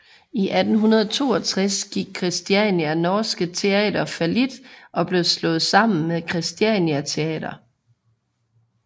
I 1862 gik Kristiania norske Theater fallit og blev slået sammen med Christiania Theater